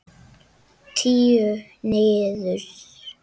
Tíu niður.